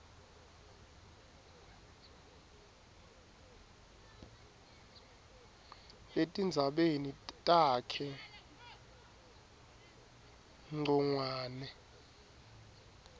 etindzabeni takhe ncongwane